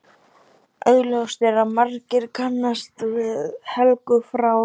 Augljóst er að margir kannast við Helgu frá